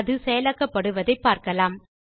அது செயலாக்கப்படுவதை என பார்க்கலாம்